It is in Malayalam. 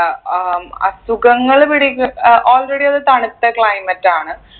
അഹ് ഏർ അസുഖങ്ങൾ പിടിക്ക് ഏർ already അത് തണുത്ത climate ആണ്